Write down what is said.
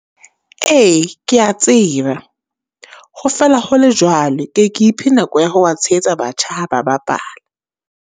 Ee, ke ya tseba ho fela hole jwalo, ke ye ke iphe nako ya ho ba tshehetsa batjha ha ba bapala.